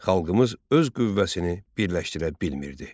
Xalqımız öz qüvvəsini birləşdirə bilmirdi.